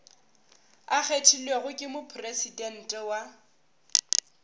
a kgethilwego ke mopresidente wa